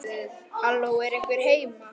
Halló, er einhver heima?